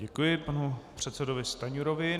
Děkuji panu předsedovi Stanjurovi.